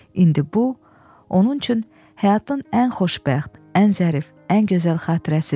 İndi bu onun üçün həyatın ən xoşbəxt, ən zərif, ən gözəl xatirəsidir.